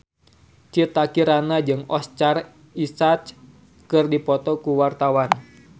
Citra Kirana jeung Oscar Isaac keur dipoto ku wartawan